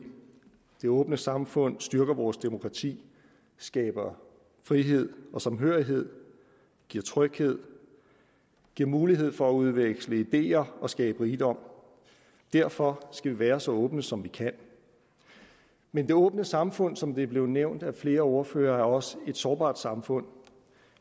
det åbne samfund styrker vores demokrati skaber frihed og samhørighed giver tryghed giver mulighed for at udveksle ideer og skabe rigdom derfor skal vi være så åbne som vi kan men det åbne samfund er som det er blevet nævnt af flere ordførere også et sårbart samfund